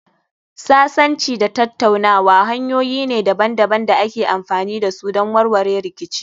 Sasanci da tattaunawa hanyoyi ne daban-daban da ake amfani da su don warware rikici.